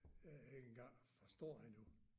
Øh ikke engang forstår endnu